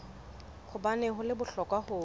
hobaneng ho le bohlokwa ho